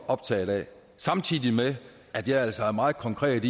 optaget af samtidig med at jeg altså er meget konkret